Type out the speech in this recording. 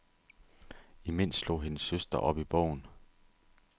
Imens slog hendes søster op i bogen.